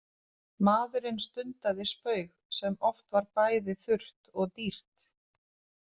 Maðurinn stundaði spaug sem oft var bæði þurrt og dýrt.